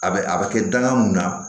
A bɛ a bɛ kɛ danga mun na